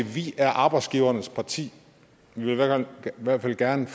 de er arbejdsgivernes parti de ville i hvert fald gerne